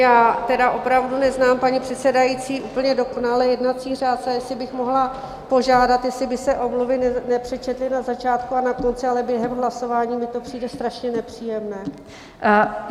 Já tedy opravdu neznám, paní předsedající, úplně dokonale jednací řád, ale jestli bych mohla požádat, jestli by se omluvy nepřečetly na začátku a na konci, ale během hlasování mi to přijde strašně nepříjemné.